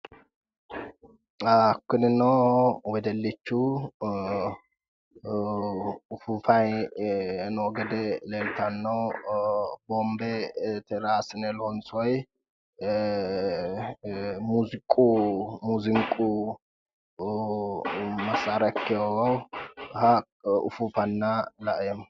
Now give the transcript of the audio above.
Kunino wedellichu ufuufayi noo gede leellanno. Boombe raa assine loonsoyi muuziiqu massaara ikkiwoha ufuufanna laeemmo.